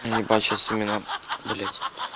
и ебать сейчас именно блядь